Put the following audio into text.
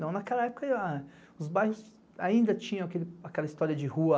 Não, naquela época os bairros ainda tinham aquela história de rua